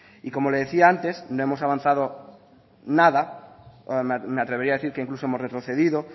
y como le decía antes no hemos avanzado nada o me atrevería a decir que incluso hemos retrocedido